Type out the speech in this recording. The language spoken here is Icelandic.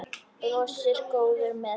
Brosir, góður með sig.